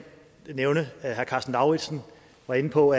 nævne at herre karsten lauritzen var inde på